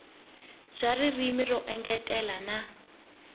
bya ririmi ro engetela na